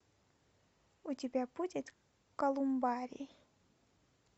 у тебя будет колумбарий